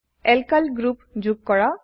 alkyl group যোগ কৰা